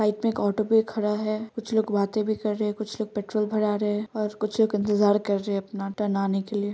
line मे एक auto भी खड़ा है कुछ लोग बाते भी कर रहे है कुछ लोग पेट्रोल भरा रहे हैं और कुछ लोग इंतजार कर रहे अपना टर्न आने के लिए --